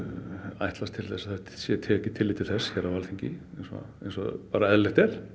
ætlast til þess að það sé tekið tillit til þess hér á Alþingi eins og eðlilegt er